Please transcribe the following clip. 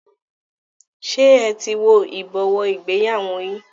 Ṣé ẹ ti wo ibowo ìgbéyàwó yín?